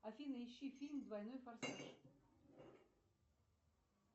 афина ищи фильм двойной форсаж